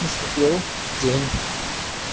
наступил день